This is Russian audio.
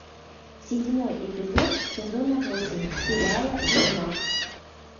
седьмой эпизод сезона восемь сериала ведьмак